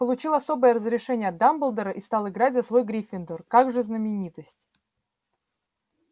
получил особое разрешение от дамблдора и стал играть за свой гриффиндор как же знаменитость